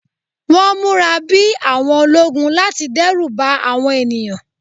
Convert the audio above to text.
Wọ́n múra bí àwọn ológun láti dẹ́rù ba àwọn ènìyàn